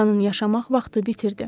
Atanın yaşamaq vaxtı bitirdi.